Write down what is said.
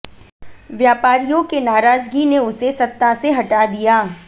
व्यापारियों के नाराजगी ने उसे सत्ता से हटा दिया